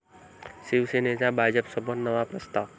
शिवसेनेचा भाजपसमोर नवा प्रस्ताव